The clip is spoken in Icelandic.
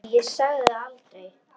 Nei, ég sagði það aldrei.